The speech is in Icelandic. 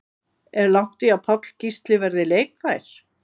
Er langt í að Páll Gísli verði leikfær?